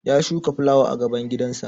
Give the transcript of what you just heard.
Ya shuka fulawa a gaban gidansa